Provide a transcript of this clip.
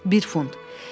Bir funt.